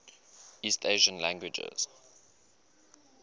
east asian languages